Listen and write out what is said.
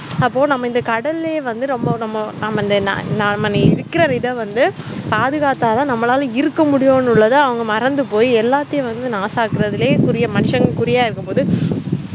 அப்ப நம்ம இந்த கடலே வந்து நம்ம நம்ம இருகுறத விட வந்து பாதுகாத்தான் நம்மளால இருக்கு முடியும் அவங்க மறந்து போய்எல்லாத்தையும் நாச ஆக்குரதே மனுஷங்க குறியாஇருக்கபோகுது